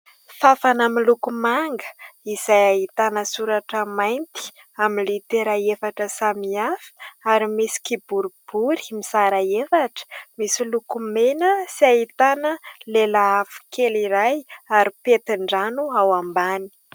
Fanfana miloko manga izay ahitana soratra mainty amin'ny litera efatra samihafa ary misy kiboribory mizara efatra misy loko mena sy ahitana lelafo kely iray ary pentin-drano ao ambany.